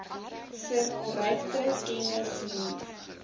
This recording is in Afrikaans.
verrykte kennis hier